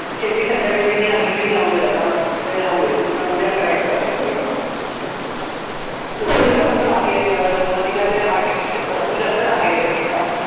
शेवटी संध्याकाळी तिनी संगीत की जाऊदे आता राहूदे उद्या काय करशील सगळं खूप राग या अं सुरवातीला ते आठेक दिवसात भरपूर जास्त राग यायचा तिचा